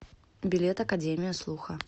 билет академия слуха